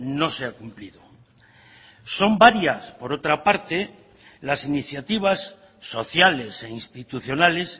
no se ha cumplido son varias por otra parte las iniciativas sociales e institucionales